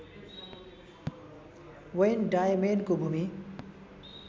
van डायमेनको भूमि